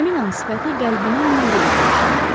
Həmin an sifəti qəlbinin nuru ilə işıqlanmışdı.